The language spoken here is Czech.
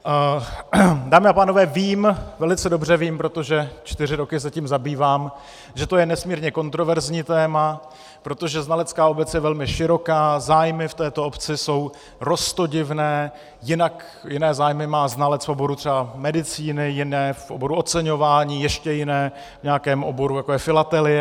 Dámy a pánové, vím, velice dobře vím, protože čtyři roky se tím zabývám, že to je nesmírně kontroverzní téma, protože znalecká obec je velmi široká, zájmy v této obci jsou roztodivné, jiné zájmy má znalec v oboru třeba medicíny, jiné v oboru oceňování, ještě jiné v nějakém oboru, jako je filatelie.